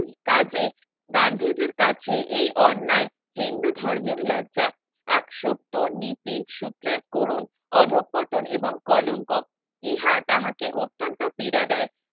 কাজে গান্ধীজীর কাছে এই অন্যায় হিন্দু ধর্মের লজ্জা এক সত্য নীতি সূত্রের করুন অধঃপতন এবং কলঙ্ক ইহা তাহাকে অত্যন্ত পীড়া দেয়